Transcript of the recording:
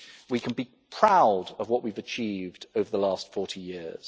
We can be proud of what we have achieved over the last 40 years.